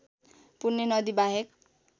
पुण्य नदी बाहेक